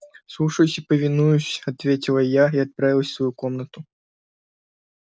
слушаюсь и повинуюсь ответила я и отправилась в свою комнату